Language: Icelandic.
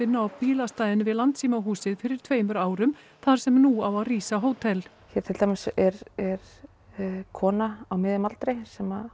á bílastæðinu við fyrir tveimur árum þar sem nú á að rísa hótel hér til dæmis er kona á miðjum aldri sem